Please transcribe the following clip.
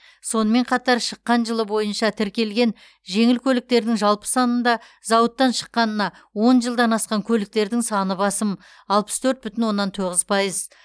сонымен қатар шыққан жылы бойынша тіркелген жеңіл көліктердің жалпы санында зауыттан шыққанына он жылдан асқан көліктердің саны басым алпыс төрт бүтін оннан тоғыз пайыз